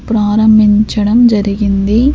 ప్రారంభించడం జరిగింది.